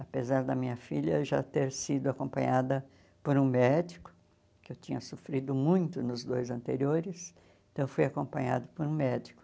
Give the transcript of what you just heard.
Apesar da minha filha já ter sido acompanhada por um médico, que eu tinha sofrido muito nos dois anteriores, então eu fui acompanhada por um médico.